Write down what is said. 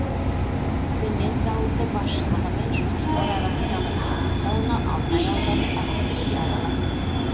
цемент зауыты басшылығы мен жұмысшылар арасындағы еңбек дауына алтай ауданы әкімдігі де араласты